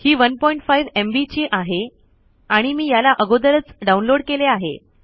हि 15एमबी ची आहे आणि मी याला अगोदरच डाउनलोड केले आहे